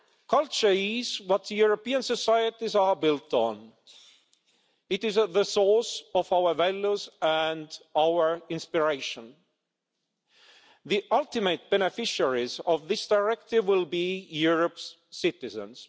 Culture is what European societies are built on. It is at the source of our values and our inspiration. The ultimate beneficiaries of this directive will be Europe's citizens.